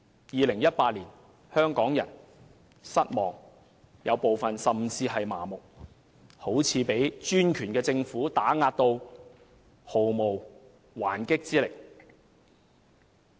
2018年，香港人感到失望，部分人甚至感到麻木，好像被專權的政府打壓得毫無還擊之力。